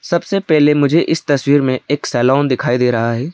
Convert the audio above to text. सबसे पहले मुझे इस तस्वीर में एक सैलून दिखाई दे रहा है।